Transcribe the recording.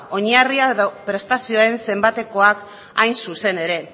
oinarrian prestazioen zenbatekoak hain zuzen ere